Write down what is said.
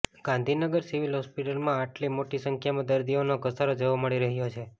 Gandhinagar civil હોસ્પિટલમાં આટલી મોટી સંખ્યામાં દર્દીઓનો ધસારો જોવા મળી રહ્યો છે